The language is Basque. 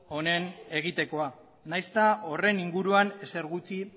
honen egitekoa nahiz eta horren inguruan ezer gutxi